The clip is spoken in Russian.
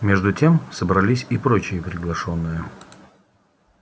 между тем собрались и прочие приглашённые